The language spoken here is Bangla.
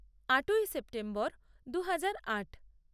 আটই সেপ্টেম্বর দু হাজার আট